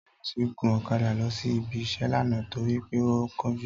Tóyọ̀sí gun ọ̀kadà lọ sí ibi-iṣẹ́ lánàá torí pé ó ń kánjú